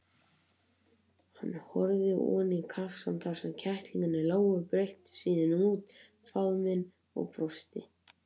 Hann horfði oní kassann þar sem kettlingarnir lágu, breiddi síðan út faðminn og brosti.